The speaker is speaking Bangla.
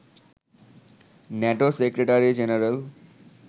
NATO secretary general